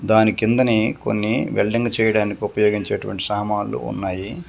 దాని కిందనే కొన్ని వెల్డింగ్ చేయడానికి ఉపయోగించేటువంటి సామాన్లు ఉన్నాయి.